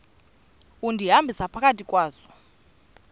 undihambisa phakathi kwazo